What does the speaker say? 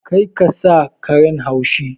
Kar ka sa karen haushi!